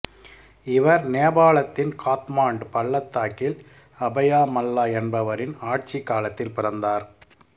இவர் நேபாளத்தின் காத்மாண்டு பள்ளத்தாக்கில் அபயா மல்லா என்பவரின் ஆட்சிக் காலத்தில் பிறந்தார்